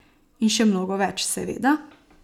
In še mnogo več, seveda.